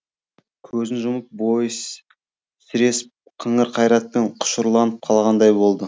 көзін жұмып бойы сіресіп қыңыр қайратпен құшырланып қалғандай болды